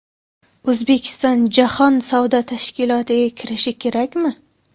O‘zbekiston jahon savdo tashkilotiga kirishi kerakmi?.